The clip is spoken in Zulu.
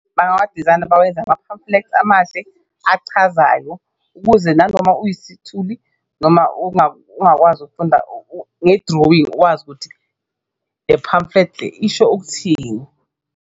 Bangawadizayina bawenze ama-pamphlets amahle achazayo kuze nanoma uyisithuli noma ungakakwazi ukufunda nge-drawing ukwazi ukuthi le-pamphlet le isho ukuthini.